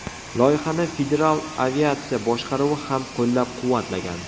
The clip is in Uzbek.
Loyihani Federal aviatsiya boshqaruvi ham qo‘llab-quvvatlagan.